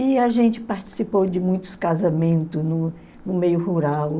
E a gente participou de muitos casamentos no no meio rural.